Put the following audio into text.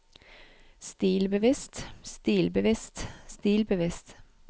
stilbevisst stilbevisst stilbevisst